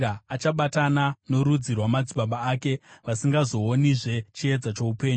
achabatana norudzi rwamadzibaba ake, vasingazoonizve chiedza choupenyu.